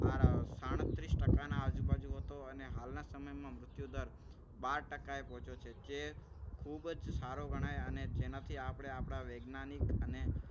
આ સાડત્રીસ ટકાના આજુબાજુ હતો. અને હાલના સમયમાં મૃત્યુદર બાર ટકા એ પહોંચ્યો છે. જે ખૂબ જ સારો ગણાય અને તેનાથી આપણે આપણા વૈજ્ઞાનિક અને